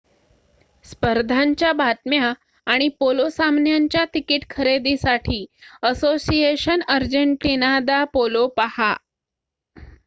स्पर्धांच्या बातम्या आणि पोलो सामन्यांच्या तिकिटे खरेदीसाठी असोसिएशन अर्जेंटीना दा पोलो पाहा